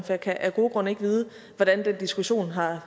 jeg kan af gode grunde ikke vide hvordan den diskussion har